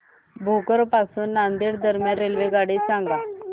भोकर पासून नांदेड दरम्यान रेल्वेगाडी सांगा